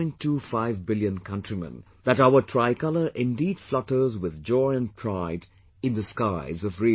25 billion countrymen, that our tricolour indeed flutters with joy and pride in the skies of RIO